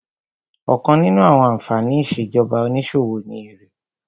Ọ̀kan nínú àwọn ànfàní ìṣèjọba onísòwò ni èrè